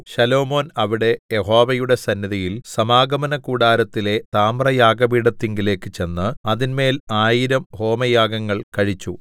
ശലോമോൻ അവിടെ യഹോവയുടെ സന്നിധിയിൽ സമാഗമനകൂടാരത്തിലെ താമ്രയാഗപീഠത്തിങ്കലേക്കു ചെന്ന് അതിന്മേൽ ആയിരം ഹോമയാഗങ്ങൾ കഴിച്ചു